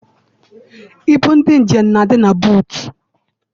Ibu ndị njem na-adị na buutu.